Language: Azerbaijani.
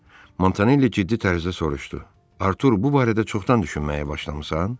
Montanelli ciddi tərzdə soruştu: Artur, bu barədə çoxdan düşünməyə başlamısan?